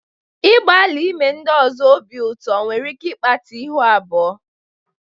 Ịgbalị ime ndị ọzọ obi ụtọ nwere ike ịkpata ihu abụọ.